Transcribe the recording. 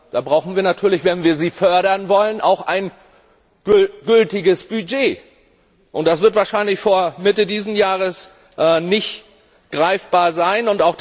Da brauchen wir natürlich, wenn wir sie fördern wollen, auch ein gültiges Budget, und das wird wahrscheinlich vor Mitte diesen Jahres nicht greifbar sein.